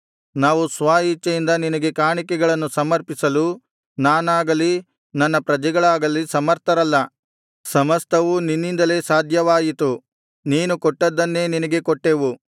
ನಾವು ಸ್ವ ಇಚ್ಛೆಯಿಂದ ನಿನಗೆ ಕಾಣಿಕೆಗಳನ್ನು ಸಮರ್ಪಿಸಲು ನಾನಾಗಲಿ ನನ್ನ ಪ್ರಜೆಗಳಾಗಲಿ ಸಮರ್ಥರಲ್ಲ ಸಮಸ್ತವೂ ನಿನ್ನಿಂದಲೇ ಸಾಧ್ಯವಾಯಿತು ನೀನು ಕೊಟ್ಟದ್ದನ್ನೇ ನಿನಗೆ ಕೊಟ್ಟೆವು